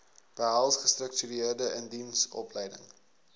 behels gestruktureerde indiensopleiding